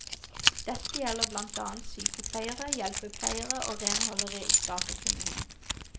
Dette gjelder blant annet sykepleiere, hjelpepleiere og renholdere i stat og kommune.